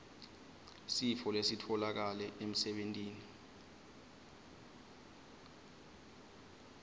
sifo lesitfolakale emsebentini